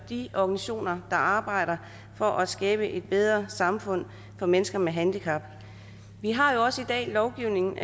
de organisationer der arbejder for at skabe et bedre samfund for mennesker med handicap vi har jo også i dag lovgivning